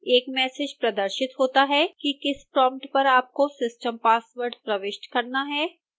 एक मैसेज प्रदर्शित होता है कि किस प्रोम्प्ट पर आपको system password प्रविष्ट करना है